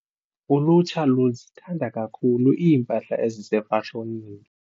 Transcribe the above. Ulutsha luzithanda kakhulu iimpahla ezisefashonini.